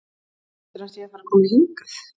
Heldurðu að hann sé að fara að koma hingað?